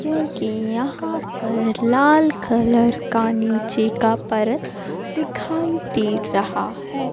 जोकि यहां पर लाल कलर का नीचे का परत दिखाई दे रहा है।